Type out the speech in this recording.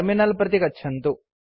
terminal प्रति गच्छन्तु